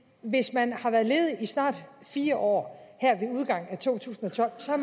hvis man har været ledig i snart fire år her ved udgangen af to tusind og tolv